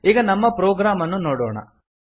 ಈಗ ನಮ್ಮ ಪ್ರೊಗ್ರಾಮ್ ಅನ್ನು ನೋಡೋಣ